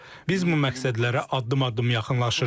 Biz bu məqsədlərə addım-addım yaxınlaşırıq.